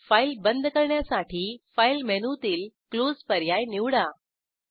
file बंद करण्यासाठी file मेनूतील क्लोज पर्याय निवडा